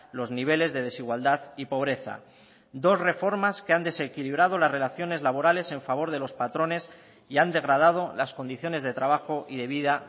los niveles de desigualdad y pobreza dos reformas que han desequilibrado las relaciones laborales en favor de los patrones y han degradado las condiciones de trabajo y de vida